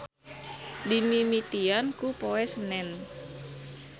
Dimimitian ku Poe Senen.